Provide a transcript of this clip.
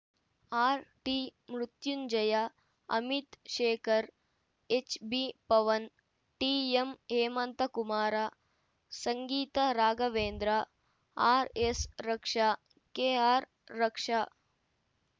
ಆರ್‌ಟಿಮೃತ್ಯುಂಜಯ Amit Shekhar ಎಚ್‌ಬಿಪವನ್‌ ಟಿಎಂಹೇಮಂತಕುಮಾರ Sangeetha Raghavendra ಆರ್‌ಎಸ್‌ರಕ್ಷಾ ಕೆಆರ್‌ರಕ್ಷಾ